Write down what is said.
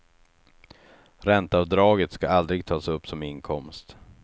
Ränteavdraget ska aldrig tas upp som inkomst.